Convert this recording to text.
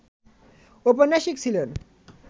ঔপন্যাসিক ছিলেন